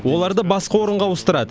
оларды басқа орынға ауыстырады